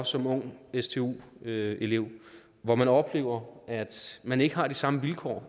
som ung stu elev når man oplever at man ikke har de samme vilkår